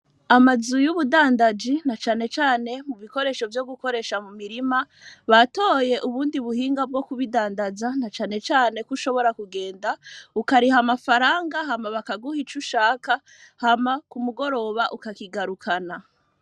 Amazu y,ubudandaji na cane cane mu bikoresho vyo gukoresha mu mirima batoye ubundi buhinga bwo kubidandaza na cane cane kushobora kugenda ukariha amafaranga hama bakaguha ico ushaka hama ku mugoroba ukakigarukana.